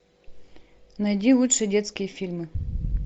найди лучшие детские фильмы